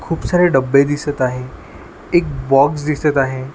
खूप सारे डब्बे दिसत आहे एक बॉक्स दिसत आहे.